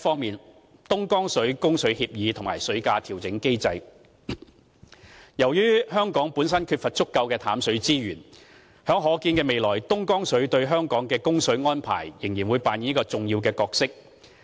a 東江水供水協議及水價調整機制由於香港本身缺乏足夠的淡水資源，東江水在可見的未來對香港的供水安排，仍然會扮演着一個重要的角色。